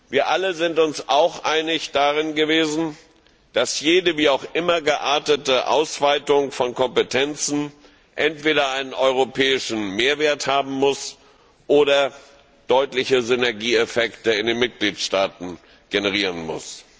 Wir alle sind uns auch darin einig gewesen, dass jede wie auch immer geartete Ausweitung von Kompetenzen entweder einen europäischen Mehrwert haben muss oder deutliche Synergieeffekte in den Mitgliedstaaten generieren muss.